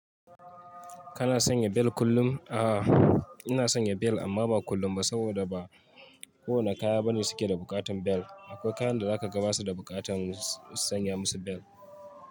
Kana sanya bel kullum? A'a, ina sanya bel amma ba kullum ba saboda ba kowane kaya bane suke da buƙatan bel. Akwai kayan da zaka ga ba su da buƙatan sanya musu bel.